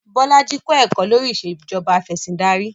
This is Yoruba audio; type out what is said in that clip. Bolaji kọ̀ ẹ̀kọ́ lórí Ìṣèjọba Afẹ̀sìndarí